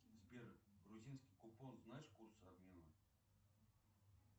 сбер грузинский купон знаешь курсы обмена